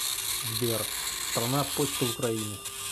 сбер страна почта украины